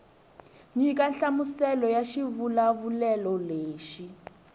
nyika nhlamuselo ya xivulavulelo lexi